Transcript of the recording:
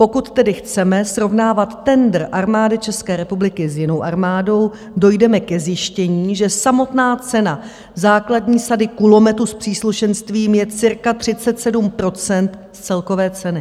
Pokud tedy chceme srovnávat tendr Armády České republiky s jinou armádou, dojdeme ke zjištění, že samotná cena základní sady kulometu s příslušenstvím je cirka 37 % z celkové ceny.